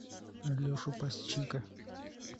алешу пасечника